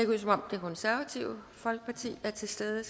ud som om det konservative folkeparti er til stede